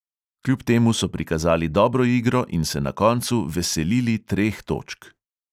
Kljub temu so prikazali dobro igro in se na koncu veselili treh točk.